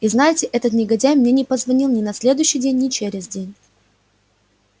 и знаете этот негодяй мне не позвонил ни на следующий день ни через день